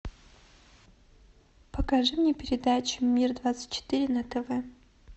покажи мне передачу мир двадцать четыре на тв